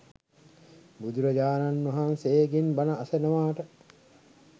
බුදුරජාණන් වහන්සේගෙන් බණ අසනවාට